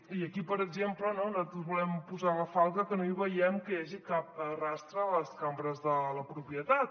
i aquí per exemple no nosaltres volem posar la falca que no hi veiem que hi hagi cap rastre de les cambres de la propietat